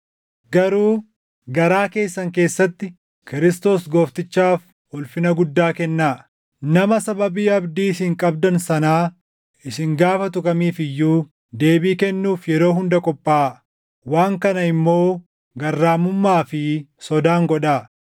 Garuu garaa keessan keessatti Kiristoos Gooftichaaf ulfina guddaa kennaa. Nama sababii abdii isin qabdan sanaa isin gaafatu kamiif iyyuu deebii kennuuf yeroo hunda qophaaʼaa. Waan kana immoo garraamummaa fi sodaan godhaa;